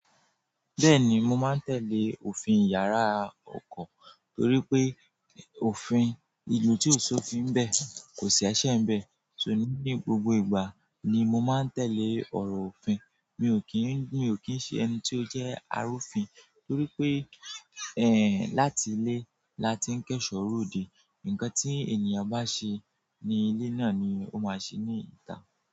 Bẹ́ẹ̀ni, mo máa ń tẹ́lẹ̀ òfin yàrá oko torí pé òfin ìlú tí ò ṣófin ńbẹ̀ kò ṣi esè nbẹ̀, so, ní gbogbo ìgbà ni mo máa ń tẹ̀lé ọ̀rọ̀ òfin. Mi ò kín, mi ò kín ṣe ẹni tí ó jẹ́ arúfin torí pé, ẹ́ń, láti ilé la ti ń kẹ́ṣọ̀ọ́ ròde, ǹkan tí ènìyàn bá ṣe ní ilé náà ni ó máa ṣe ní ìta.